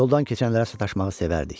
Yoldan keçənlərə sataşmağı sevərdik.